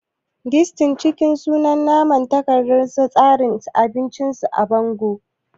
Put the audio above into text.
Disni cikin sun manna takardar tsarin abinci su a bango